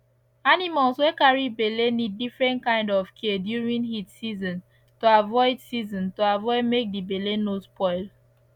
animals wey carry belle need different kind of care during heat season to avoid season to avoid make d belle no spoil